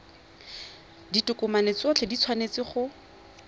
ditokomane tsotlhe di tshwanetse go